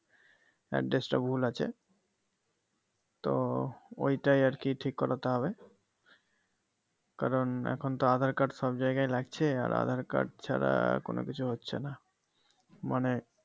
Address টা ভুল আছে তো ঐটাই আরকি ঠিক করতে হবে কারণ এখনতো আধার কার্ড সব জায়গায় লাগছে আর আধার কার্ড ছাড়া কোনো কিছুই হচ্ছেনা মানে